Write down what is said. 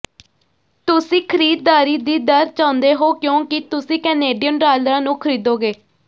ਤੁਸੀਂ ਖ਼ਰੀਦਾਰੀ ਦੀ ਦਰ ਚਾਹੁੰਦੇ ਹੋ ਕਿਉਂਕਿ ਤੁਸੀਂ ਕੈਨੇਡੀਅਨ ਡਾਲਰਾਂ ਨੂੰ ਖਰੀਦੋਗੇ